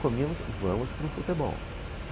Comíamos, vamos para o futebol.